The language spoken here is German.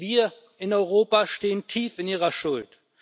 Wir in Europa stehen tief in ihrer Schuld.